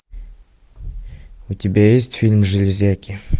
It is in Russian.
у тебя есть фильм железяки